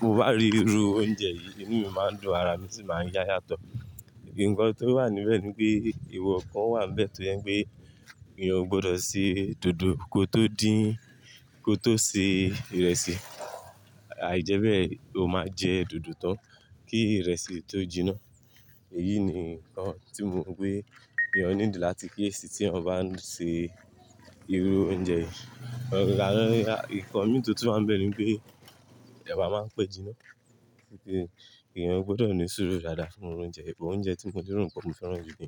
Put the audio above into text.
mo bá rí irú oúnjẹ yìí, ẹnu mi máa ń dùn, ara mi sì máa ń yá yátọ̀. Ìdí nǹkan tó wà níbẹ̀ ni pé ewokan wà níbẹ̀ tó yẹn pé èèyàn ò gbọdọ̀ se dòdò kó tó dín, kó tó se ìrẹsì. Àìjẹ́bẹ́ẹ̀, ó máa jẹ dòdò tán kí ìrẹsì tó jiná. Èyí ni nǹkan tí mo rò pé èèyàn nílò láti kí èsì tí wọ́n bá ń ṣe irú oúnjẹ yìí. Ìkọmi to tó máa ń bẹ̀rẹ̀ ni pé ẹ̀wà máa ń pẹ́ jiná.bẹ́ẹ̀, èèyàn ò gbọdọ̀ ní ìṣòro dáadáa fún oúnjẹ bẹ́ẹ̀. Ọúnjẹ tí mo dúró ń kọ mi fẹ́ràn jù ni.